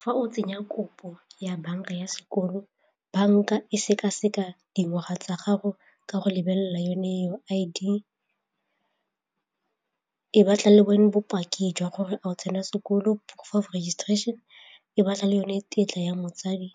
Fa o tsenya kopo ya banka ya sekolo, banka e sekaseka dingwaga tsa gago ka go lebelela yone I_D, e batla le bone bopaki jwa gore go tsena sekolo proof of registration, e batla le yone tetla ya motsadi,